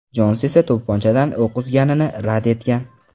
Jons esa to‘pponchadan o‘q uzganini rad etgan.